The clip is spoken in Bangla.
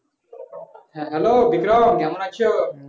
hello বিক্রম কেমন আছো